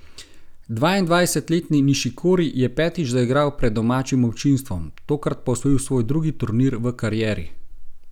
Dvaindvajsetletni Nišikori je petič zaigral pred domačim občinstvom, tokrat pa osvojil svoj drugi turnir v karieri.